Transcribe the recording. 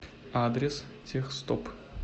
адрес техстоп